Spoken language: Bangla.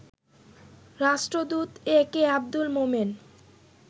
রাষ্ট্রদূত এ কে আব্দুল মোমেন